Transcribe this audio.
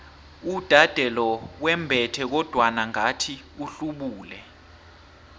uudade lo wembethe kodwana ngathi uhlubule